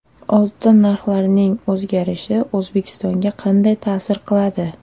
Oltin narxlarining o‘zgarishi O‘zbekistonga qanday ta’sir qiladi?